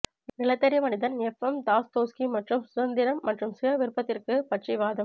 நிலத்தடி மனிதன் FM Dostoevsky மற்றும் சுதந்திரம் மற்றும் சுய விருப்பத்திற்கு பற்றி வாதம்